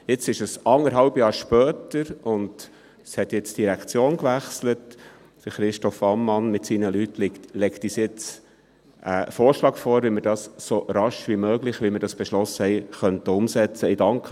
Jetzt, anderthalb Jahre später und nachdem die Direktion gewechselt hat, legt uns Christoph Ammann mit seinen Leuten einen Vorschlag vor, wie wir dies «so rasch wie möglich», so wie wir es beschlossen haben, umsetzen könnten.